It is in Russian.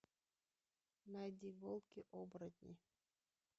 найди волки оборотни